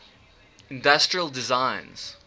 industrial designs